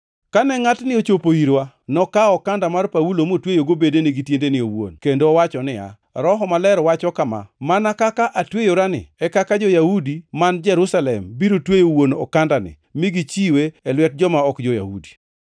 Kane ngʼatni ochopo irwa, nokawo okanda mar Paulo motweyogo bedene gi tiendene owuon, kendo owacho niya, “Roho Maler wacho kama: ‘Mana kaka atweyorani e kaka jo-Yahudi man Jerusalem biro tweyo wuon okandani mi gichiwe e lwet joma ok jo-Yahudi.’ ”